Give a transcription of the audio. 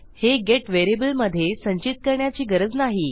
हे गेट व्हेरिएबलमधे संचित करण्याची गरज नाही